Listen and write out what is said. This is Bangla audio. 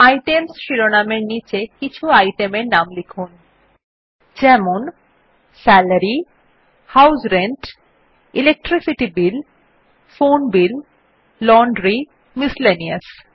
আইটেমস শিরোনাম এর নীচে কিছু আইটেম এর নাম লিখুন যেমন salary house rent electricity bill phone bill laundry miscellaneous